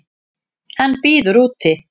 Hann bíður úti.